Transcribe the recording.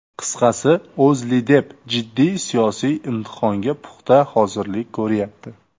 Qisqasi, O‘zLiDeP jiddiy siyosiy imtihonga puxta hozirlik ko‘ryapti.